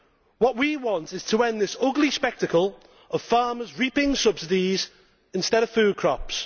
What we want is to end this ugly spectacle of farmers reaping subsidies instead of food crops.